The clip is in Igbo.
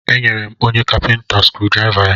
E nyere m onye kapinta skrudraịva ya.